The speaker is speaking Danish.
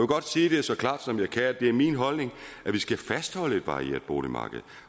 godt sige det så klart som jeg kan at det er min holdning at vi skal fastholde et varieret boligmarked